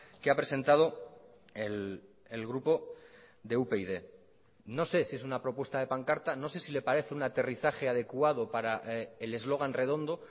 que ha presentado el grupo de upyd no sé si es una propuesta de pancarta no sé si le parece un aterrizaje adecuado para el eslogan redondo